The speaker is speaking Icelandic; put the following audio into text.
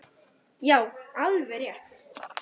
Já, alveg rétt!